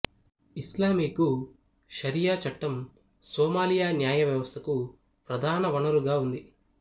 ఇస్లామికు షరియా చట్టం సొమాలియా న్యాయవ్యవస్థకు ప్రధాన వనరుగా ఉంది